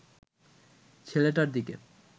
ছেলেটার দিকে